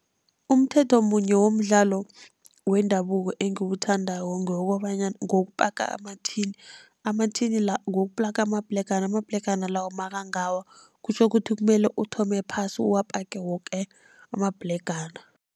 Umthetho munye womdlalo wendabuko engiwuthandako ngewokobanyana ngewokupaka amathini. Amathini la ngewokupaka amabhlegana, amabhlegana lawo nakangawa kutjho ukuthi kumele uthome phasi uwapake woke amabhlegana.